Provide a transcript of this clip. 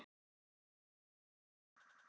Steina og ég.